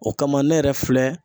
O kama ,ne yɛrɛ filɛ